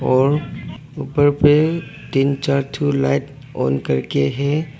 और ऊपर पे तीन चार ठो लाइट ऑन करके है।